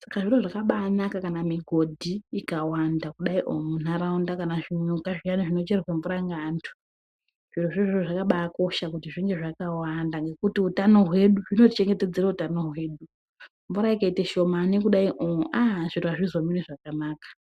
Saka zviro zvakabaanaka kana migodhi ikawanda kudaioo munharaunda, kana zvinyuka zviyana zvinocherwa mvura ngeantu. Zvirozvo izvozvo zvakabaakosha kuti zvinge zvakawanda ngekuti utano hwedu, zvinotichengetedzere utano hwedu. Mvura ikaite shamani kudaioo aaa zviro azvizomiri zvakanaka.